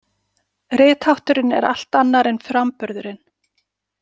Rithátturinn er allt annar en framburðurinn.